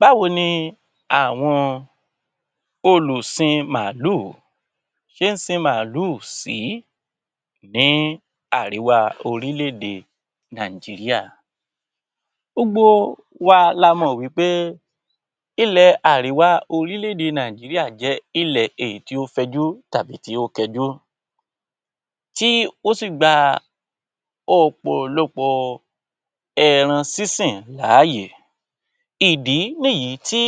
Báwo ni àwọn olùsin màálù ṣé ń sin màálù sì í ní àríwá orílẹ̀-èdè Nàìjíríà? Gbogbo wa la mọ́ wí pé ilẹ̀ àríwá orílẹ̀-èdè Nàìjíríà jẹ́ ilẹ̀ èyí tí ó fẹjú tàbí èyí tí ó kẹjú, tí ó sì gba ọ̀pọ̀lọpọ̀ ẹran sísìn láàyè. Ìdí nìyí tí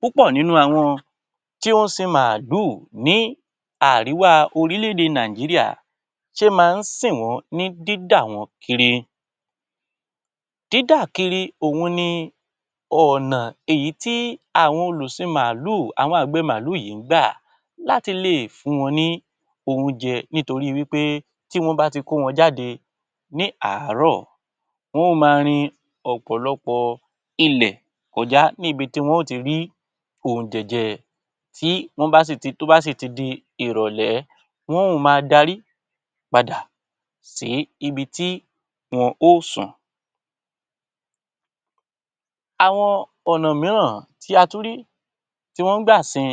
púpọ̀ nínú àwọn tí ó ń sin màálù ní àríwá orílẹ̀-èdè Nàìjíríà ṣe máa ń sìn wọ́n ní dídà wọ́n kiri. Dídà kiri òhun ni ọ̀nà èyí tí àwọn olùsin màálù àwọn àgbẹ̀ màálù yìí ń gbà láti lè fún wọn ní oúnjẹ nítorí wí pé tí wọ́n bá ti kó wọn jáde ní àárọ̀, wọ́n máa rin ọ̀pọ̀lọpọ̀ ilẹ̀ kọjá níbi tí wọn ó ti rí oúnjẹ jẹ. Tí wọ́n bá sì ti ó bá sì ti di ìrọ̀lẹ́, wọn ó máa darí padà sí ibi tí wọn ó sùn. Àwọn ọ̀nà mìíràn tí a tún rí tí wọ́n ń gbà sin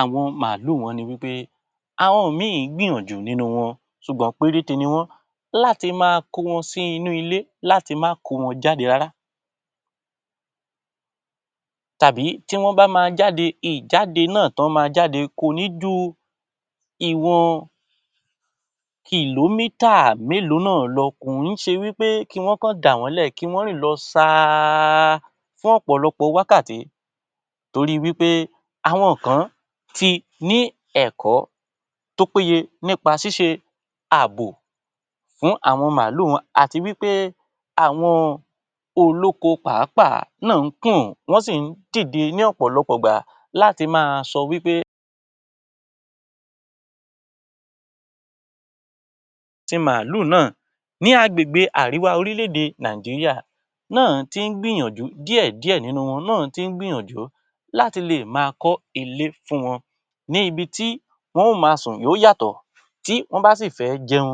àwọn màálù wọn ní wí pé àwọn ìmí gbìyànjú nínú wọn ṣùgbọ́n péréte ni wọ́n. Láti máa kó wọn sí inú ilé, láti má kó wọn jáde rárá tàbí tí wọ́n bá máa jáde ìjáde náà tọ́ máa jáde kò ní ju ìwọn mélòó náà lọ. Kò ó ṣe wí pé kí wọ́n kọ̀ dà wọ́n lẹ̀, kí wọ́n rìn lọ saaaa fún ọ̀pọ̀lọpọ̀ wákàtí torí wí pé àwọn kan ti ní ẹ̀kọ́ tó péye nípa ṣíṣe àbò fún àwọn màálù wọn àti wí pé àwọn olóko pàápàá náà ń kùn, wọ́n sì ń dìde ní ọ̀pọ̀lọpọ̀ ìgbà láti máa sọ wí pé ti màálù náà. Ní agbègbè àríwá orílẹ̀-èdè Nàìjíríà náà tí ń gbìyànjú díẹ̀ díẹ̀ nínú wọn náà tí ń gbìyànjú láti lè máa kọ́ ilé fún wọn. Ní ibi tí wọn yóò máa sùn yóò yàtọ̀, tí wọ́n bá sì fẹ́ jẹun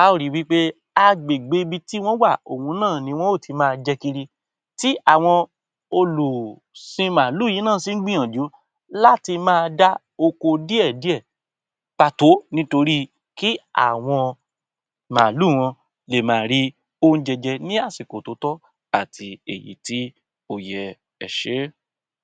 a ó ri wí pé agbègbè ibi tí wọ́n wà òhun náà ni wọn ó ti máa jẹ kiri, tí àwọn olùsin màálù yìí náà sí ǹ gbìyànjú láti máa dá oko díẹ̀ díẹ̀ pàtó nítorí kí àwọn màálù wọn lè máa rí oúnjẹ jẹ ní àsìkò tó tọ́ àti èyí tí ó yẹ. Ẹ ṣé.